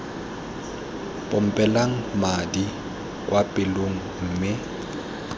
pompelang madi kwa pelong mme